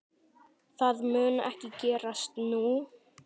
Það mun ekki gerast nú.